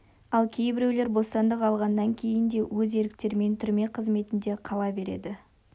ал кейбіреулері бостандық алғаннан кейін де өз еріктерімен түрме қызметінде қала береді